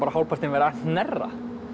hálfpartinn verið að hnerra